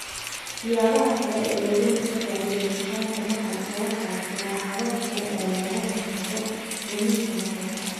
Siyaabaha Kale ee Looga Hortagayo Lumitaanka Maqalka Waxa jira habab kale oo looga hortago lumis maqal.